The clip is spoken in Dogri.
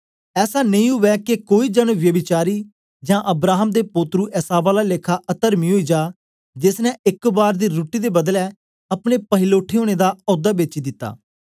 ऐसा नेई उवै के कोई जन व्यभिचारी जां अब्राहम दे पोत्रू एसाव आला लेखा अतरमी ओई जा जेस ने एक बार दी रुट्टी दे बदले अपने पहिलोठे ओनें दा औदा बेची दिता